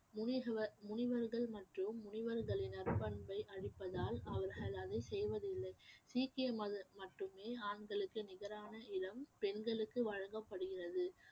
முனிகுவ~ முனிவர்கள் மற்றும் முனிவர்களின் நற்பண்பை அழிப்பதால் அவர்கள் அதை செய்வதில்லை சிக்கிய மத மட்டுமே ஆண்களுக்கு நிகரான இடம் பெண்களுக்கு வழங்கப்படுகிறது